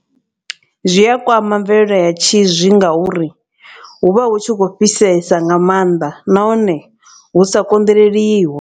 Zwi a kwama mvelelo ya tshizwi nga uri hu vha hu tshi khou fhisesa nga maanḓa nahone lu sa konḓeleliho.